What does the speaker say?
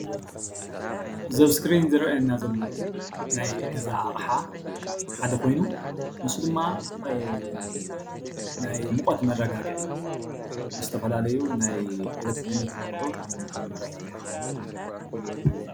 እዚ ኣብ እዝክሪን ዝረአየና ዘሎ ናይ ገዛ ኣቅሓ ሓደ ኮይኑ ንሱ ድማ ናይ ሙቀት መረጋግዒ ዝተፈላለዩ ናይ ኤሌትሪክ ኣቅሑ ናይ ሙቀት መረጋግዒ እዩ ማለት እዩ፡፡